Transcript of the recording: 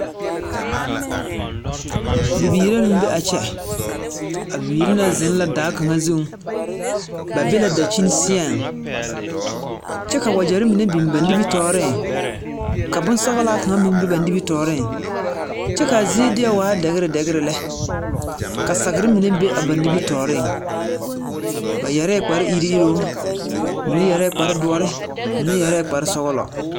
Bibiiri mine be laa kyɛ, a bibiiri ŋa zeŋ la daa kaŋa zuŋ, ba be la dankyini seɛŋ, kyɛ ka wagyɛre mine biŋ ba nimitɔɔreŋ, ka bonsɔglaa kaŋa meŋ be ba nimmitɔɔreŋ, kyɛ ka a zie deɛ waa dɛgere dɛgere lɛ., ka sagere mine be ba nimmitɔɔreŋ. Ba yarɛɛ kparre iriŋ iriŋ, mine yarɛɛ kparre doɔre, mine yarɛɛ kparre sɔglɔ.